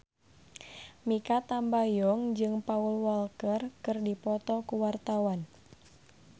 Mikha Tambayong jeung Paul Walker keur dipoto ku wartawan